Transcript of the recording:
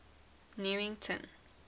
newington